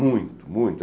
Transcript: Muito, muito.